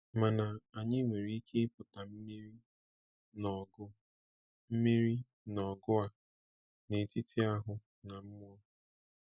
Mana anyị nwere ike ipụta mmeri n’ọgụ mmeri n’ọgụ a n’etiti ahụ na mmụọ.